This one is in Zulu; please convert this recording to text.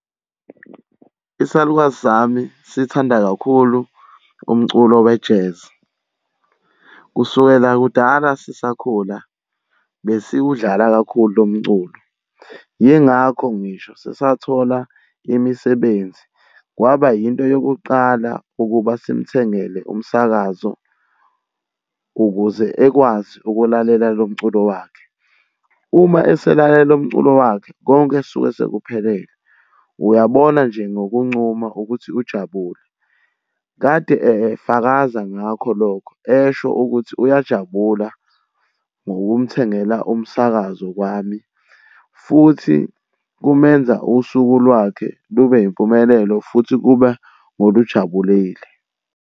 Isalukazi sami siyithanda kakhulu umculo we-jazz. Kusukela kudala sisakhula besiwudlala kakhulu lo mculo, yingakho ngisho sisathola imisebenzi kwaba yinto yokuqala ukuba simuthengele umsakazo ukuze ekwazi ukulalela lo mculo wakhe. Uma eselalela lo mculo wakhe konke suke sekuphelele, uyabona nje ngokuncuma ukuthi ujabule. Kade efakaza ngakho lokho esho ukuthi uyajabula ngokumthengela umsakazo wami, futhi kumenza usuku lwakhe lube yimpumelelo futhi kube ngokujabulile.